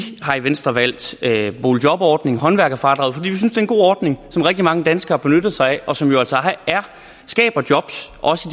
har i venstre valgt boligjobordningen håndværkerfradraget fordi vi synes det er en god ordning som rigtig mange danskere benytter sig af og som jo altså skaber jobs også